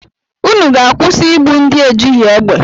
Unu ga-akwụsị igbu ndị ejighị egbe!